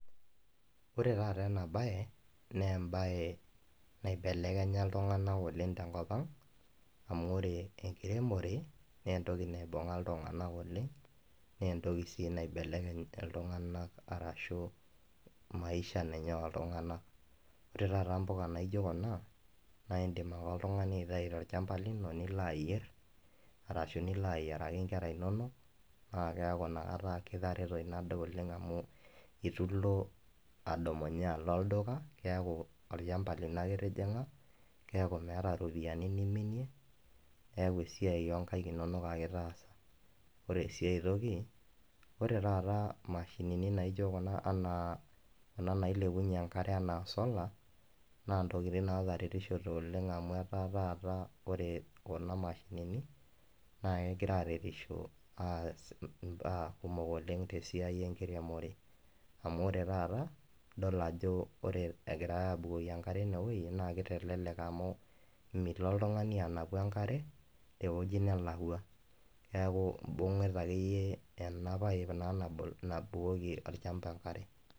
Kore taata ena baye naa baye naibelekenya ltung'ana oleng te nkopaang, amu ore enkiromore nee ntokii naibung'a ltung'ana oleng. Nee ntokii sii neebelekeny' ltung'ana arashu maisha nenyee oltung'ana. Ore taata mbukaa naijoo kuna naa idiim oltung'ani aiteei to lchambaa niloo ayeer arashu niloo ayeeraki nkerra enono naa keaku enia kaata kitaretoo nadoo oleng, amu etuu eloo adumunyee aloo ldukaa keaku olchambaa niloo ake itijing'aa keaku meeta ropiani niminiee neaku siai enkaiik enono ake itaasa. Ore sii aitokii ore taata mashinini naijoo kuna anaa ana nailebunye nkaare ana solaa naa ntokitin naata rerishito oleng amu etaa taata ore kuna mashinini naa egiraa aretisho aes baya kumook oleng te siai eng'irimore, amu kore taata idool ajoo ore egira abukoki nkaare enia wueji naa keitelelek amu miiloo ltung'ani anapuu nkaare to wueji naalakwa neeku ibung'ita ake iyee ena paiip nabool nabukoki elchamba nkaare.